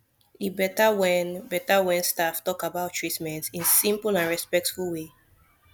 e better when better when staff talk about treatment in simple and respectful way